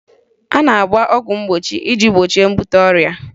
A na-agba ọgwụ mgbochi iji gbochie mbute ọrịa